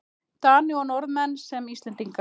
Dani og Norðmenn sem Íslendinga.